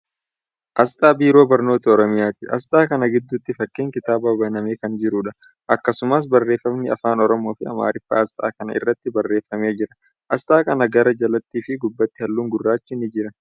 Aasxaa Biiroo Barnootaa Oromiyaati. Aasxaa kana giddutti fakkiin kitaaba banamee kan jiruudha. Akkasumas, barreeffamni afaan Oromoo fi Amaariffaa aasxaa kana irratti barreeffamee jira. Aasxaa kana gara jalaatti fi gubbaatti haallun gurraachi ni jira.